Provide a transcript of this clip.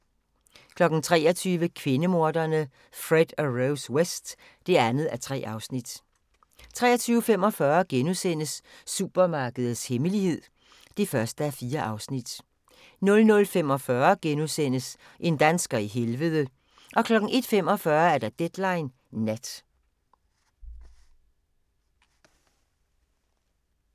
23:00: Kvindemorderne Fred og Rose West (2:3) 23:45: Supermarkedets hemmelighed (1:4)* 00:45: En dansker i helvede * 01:45: Deadline Nat